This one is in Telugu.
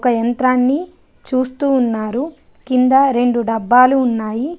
ఒక యంత్రాన్ని చూస్తూ ఉన్నారు కింద రెండు డబ్బాలు ఉన్నాయి.